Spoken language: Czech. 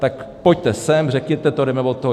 Tak pojďte sem, řekněte to, jdeme od toho.